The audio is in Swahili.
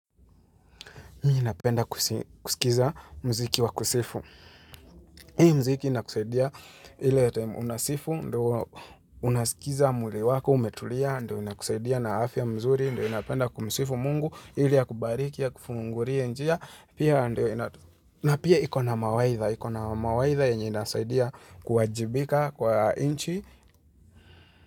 Mi napenda kusikiza mziki wa kusifu. Hii mziki inakusaidia ile time unasifu, ndio unasikiza mwili wako, umetulia, ndio inakusaidia na afya mzuri, ndio inapenda kumsifu mungu, ili akubariki, akufungurie njia. Pia ndio inato na pia hiko na mawaitha, hiko na mawaitha yenye inasaidia kuwajibika kwa inchi.